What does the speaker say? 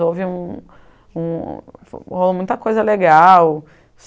houve um um, rolou muita coisa legal.